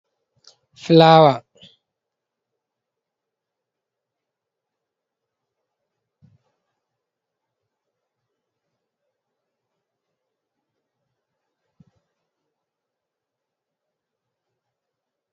Fulaawa on, haa nder saare, fulaawa ɓe ɗo tayti rammini ɗo wooɗi. Nden ɗo juuti tokki sera mahol saare man. Ɗon fulaawa man fere ɓe tayti ɓe bo''ini ɗum ba tarde silaawo ni. Woodi bobji lamtarki a sera mahol man ɗo jaynita fulaawaji man. Ndaa barannda cuuɗi saare diga dayɗum.